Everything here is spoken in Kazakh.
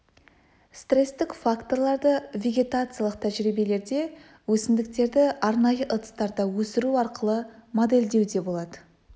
стрестік факторларды вегетациялық тәжірибелерде өсімдіктерді арнайы ыдыстарда өсіру арқылы моделдеу де болады